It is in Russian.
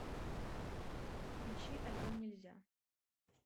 включи альбом нельзя